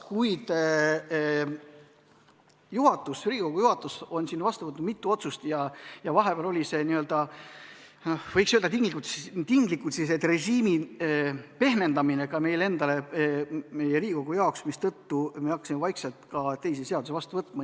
Kuid Riigikogu juhatus on vastu võtnud mitu otsust ja vahepeal toimus, võiks öelda, tinglikult n-ö režiimi pehmendamine ka meil endal, meie Riigikogu jaoks, mistõttu me hakkasime vaikselt ka teisi seadusi vastu võtma.